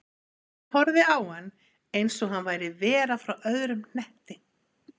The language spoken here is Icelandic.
Tóti horfði á hann eins og hann væri vera frá öðrum hnetti.